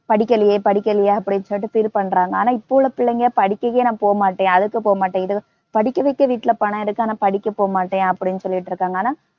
படிக்கிலையே படிக்கிலையே அப்படி சொல்லிட்டு feel பண்றாங்க. ஆனா இப்ப உள்ள புள்ளைங்க படிக்கக்கே நான் போமாட்டேன், அதுக்கு போமாட்டேன், இ~ படிக்கவக்க வீட்டில பணம் இருக்கு, ஆனா படிக்க போமாட்டேன் அப்படின்னு சொல்லிட்டிருக்காங்க.